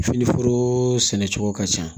Fini foro sɛnɛcogo ka ca